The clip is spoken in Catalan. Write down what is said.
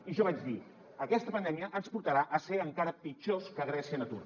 i jo vaig dir aquesta pandèmia ens portarà a ser encara pitjors que grècia en atur